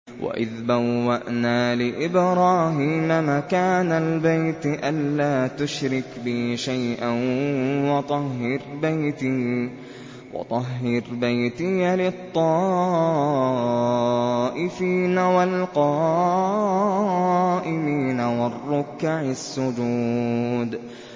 وَإِذْ بَوَّأْنَا لِإِبْرَاهِيمَ مَكَانَ الْبَيْتِ أَن لَّا تُشْرِكْ بِي شَيْئًا وَطَهِّرْ بَيْتِيَ لِلطَّائِفِينَ وَالْقَائِمِينَ وَالرُّكَّعِ السُّجُودِ